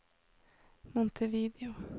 Montevideo